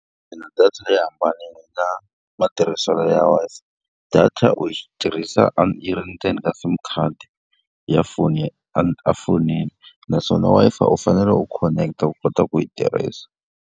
Xana data yi hambanile na matirhiselo ya Wi-Fi? Data u yi tirhisa yi ri ndzeni ka SIM card ya foni efonini naswona Wi-Fi u fanele u khoneketa u kota ku yi tirhisa.